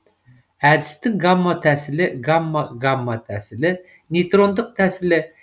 әдістің гамма тәсілі гамма гамма тәсілі нейтрондық тәсілі